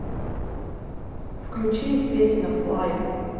включи песня флай